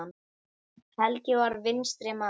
Helgi var vinstri maður.